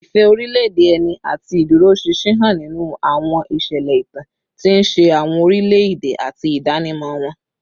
Ìfẹ́ orílẹ̀-èdè ẹni àti ìdúróṣinṣin hàn nínú àwọn ìṣẹ̀lẹ̀ ìtàn, tí ń ṣe àwọn orílẹ̀-èdè àti ìdánimọ̀ wọn